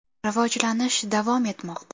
Rivojlanish davom etmoqda.